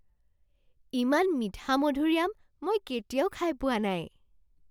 ইমান মিঠা মধুৰি আম মই কেতিয়াও খাই পোৱা নাই!